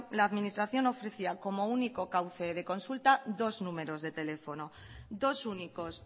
la administración ofrecía como único cauce de consulta dos números de teléfono dos únicos